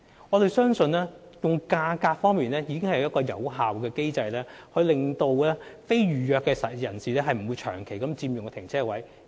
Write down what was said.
我們相信，價格已是有效的機制，令非預約泊車位的使用者不會長期佔用泊車位。